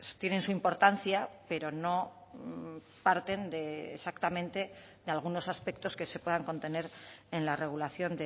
tienen su importancia pero no parten de exactamente de algunos aspectos que se puedan contener en la regulación